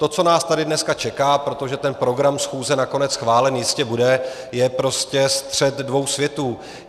To, co nás tady dnes čeká, protože ten program schůze nakonec schválený jistě bude, je prostě střet dvou světů.